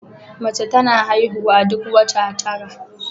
Mace tana haihuwa duk wata tara